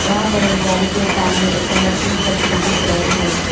यहां पर उस गाड़ी के सामने एक कलरफुल छतरी दिख रहे है।